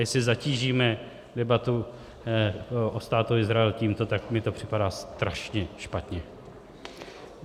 Jestli zatížíme debatu o Státu Izrael tímto, tak mi to připadá strašně špatně.